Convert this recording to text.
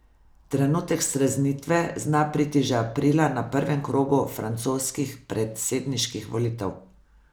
Trenutek streznitve zna priti že aprila na prvem krogu francoskih predsedniških volitev.